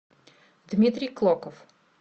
дмитрий клоков